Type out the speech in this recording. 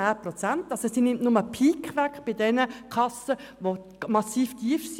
Es geht nur ein Peak bei den Kassen weg, welche massiv tief sind.